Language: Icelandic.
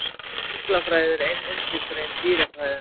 Fuglafræði er ein undirgrein dýrafræðinnar.